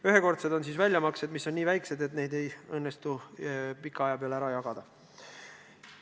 Ühekordsed on sellised väljamaksed, mis on nii väikesed, et neid ei õnnestu pika aja peale ära jagada.